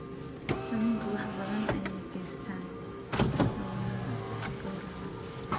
Haweenku wax badan ayay ka geystaan ??hawlaha gowraca.